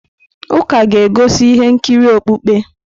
Ụka ga-egosi ihe nkiri okpukpe.